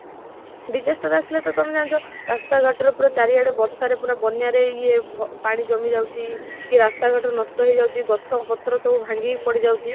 disaster ଆସିଲା ତ ତମେ ଜାଣିଛ ରାସ୍ତା ଘାଟ ପୁରା ଚାରି ଆଡେ ବର୍ଷରେ ପୁରା ବନ୍ୟାରେ ଯେ ପାଣି ଜମି ଯାଉଛି କି ରସ୍ତା ଘାଟ ନଷ୍ଟ ହେଇ ଯାଉଛି ଗଛ ପତ୍ର ସବୁ ଭାଙ୍ଗି ବଡିଯାଉଛି